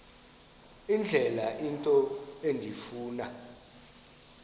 indlela into endifuna